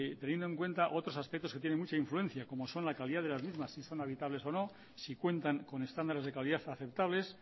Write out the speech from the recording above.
teniendo en cuenta otros aspectos que tiene mucha influencia como son la calidad de las mismas si son habitables o no si cuentan con estándares de calidad aceptables